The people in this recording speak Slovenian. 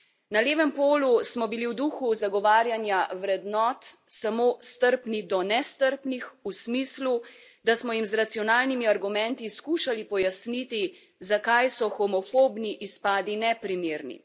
Na levem polu smo bili v duhu zagovarjanja vrednot samo strpni do nestrpnih v smislu, da smo jim z racionalnimi argumenti skušali pojasniti, zakaj so homofobni izpadi neprimerni.